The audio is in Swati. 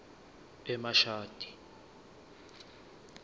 emashadi